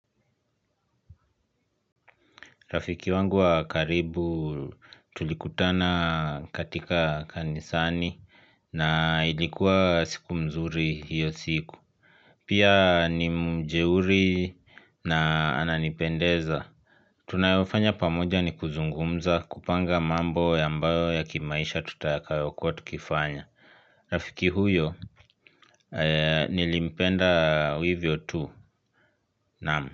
Rafiki wangu wa karibu tulikutana katika kanisani. Na ilikuwa siku mzuri hiyo siku. Pia ni mjeuri na ananipendeza. Tunayofanya pamoja ni kuzungumza kupanga mambo ambao ya kimaisha tutakayokua tukifanya. Rafiki huyo. Nilimpenda hivyo tu naam.